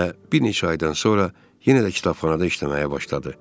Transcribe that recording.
Və bir neçə ayadan sonra yenə də kitabxanada işləməyə başladı.